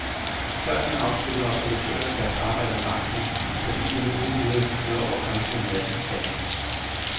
Førhen afsluttede observatørerne deres arbejde om aftenen, så bilerne uden videre kunne køre over grænsen om natten, sagde han.